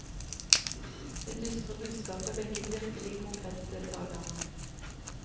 Det dystre budskapet vekket virkelig kongressdeltagerne.